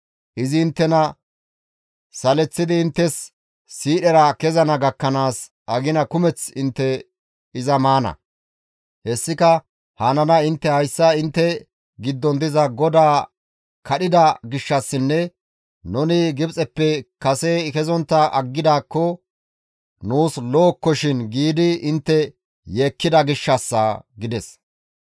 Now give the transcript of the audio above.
Izi inttena saleththidi inttes siidhera kezana gakkanaas agina kumeth intte iza maana; hessika hananay intte hayssa intte giddon diza GODAA kadhida gishshassinne nuni Gibxeppe kase kezontta aggidaakko nuus lo7okkoshin giidi intte yeekkida gishshassa› » gides.